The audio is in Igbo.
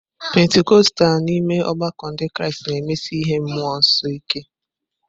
Pentikọstal n'ime ọgbakọ Ndị Kraịst na-emesi ihe mmụọ nsọ ike.